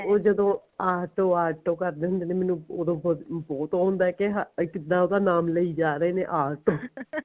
ਉਹ ਜਦੋਂ auto auto ਕਰਦੇ ਹੁੰਦੇ ਨੇ ਮੈਨੂੰ ਉਹਦੋ ਬਹੁਤ ਉਹ ਹੁੰਦਾ ਕੇ ਹਾਂ ਕਿੱਦਾਂ ਉਹਦਾ ਨਾਮ ਲਈ ਜਾ ਰਹੇ ਨੇ ਆਟੋ